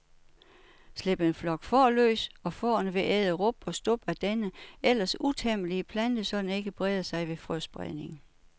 Slip en flok får løs, og fårene vil æde rub og stub af denne ellers utæmmelige plante, så den ikke breder sig ved frøspredning.